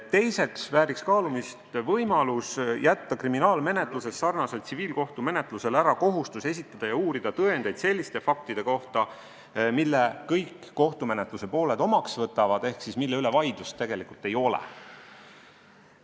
Teiseks vääriks kaalumist võimalus jätta kriminaalmenetluses sarnaselt tsiviilkohtumenetlusele ära kohustus esitada ja uurida tõendeid selliste faktide kohta, mille kõik kohtumenetluse pooled omaks võtavad ehk mille üle vaidlust tegelikult ei ole.